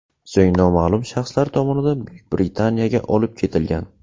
So‘ng noma’lum shaxslar tomonidan Buyuk Britaniyaga olib ketilgan.